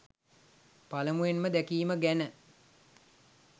පළමුවෙන්ම දැකීම ගැන.